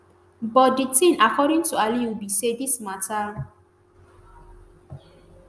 but di tin according to aluyi be say dis mata